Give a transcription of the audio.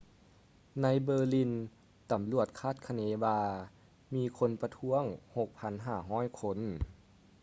ໃນ berlin ຕຳຫຼວດຄາດຄະເນວ່າມີຄົນປະທ້ວງ 6,500 ຄົນ